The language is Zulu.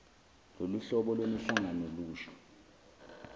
loluhlobo lwemihlangano lusho